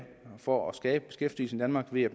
for at skabe beskæftigelse i danmark ved at